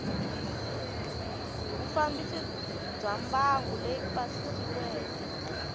vufambisi bya mbangu leyi pasisiweke